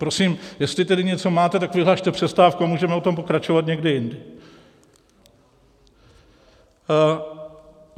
Prosím, jestli tedy něco máte, tak vyhlaste přestávku a můžeme o tom pokračovat někdy jindy.